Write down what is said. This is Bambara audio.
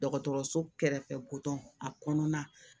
Dɔgɔtɔrɔso kɛrɛfɛ ko dɔn a kɔnɔna